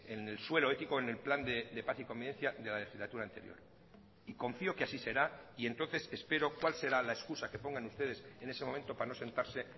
en el suelo ético en el plan de paz y convivencia de la legislatura anterior y confío que así será y entonces espero cuál será la excusa que pongan ustedes en ese momento para no sentarse